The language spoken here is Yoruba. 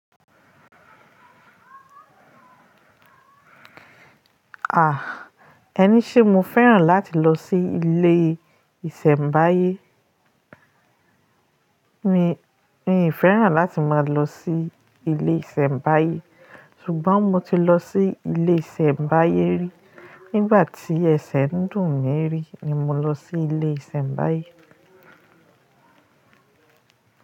Ah, ẹni ṣé mo fẹ́ràn láti lọ sí ilé ìsẹ̀mbáyé? Mi fẹ́ràn láti máa lọ sí ilé ìsẹ̀mbáyé, ṣùgbọ́n mo ti lọ sí ilé ìsẹ̀mbáyé rí. Nígbà tí ẹsẹ̀ ń dùn mí rí ni mo lọ sí ilé ìsẹ̀mbáyé.